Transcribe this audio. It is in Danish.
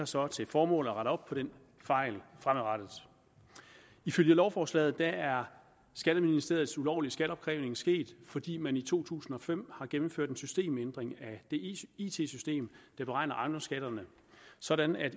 så til formål at rette op på den fejl fremadrettet ifølge lovforslaget er skatteministeriets ulovlige skatteopkrævning sket fordi man i to tusind og fem har gennemført en systemændring af det it system der beregner ejendomsskatterne sådan at